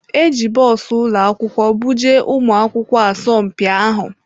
E ji bọs ụlọ akwụkwọ buje ụmụ akwụkwọ asọmpi ahụ.